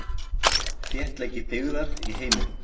Þéttleiki byggðar í heiminum.